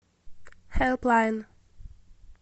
хелплайн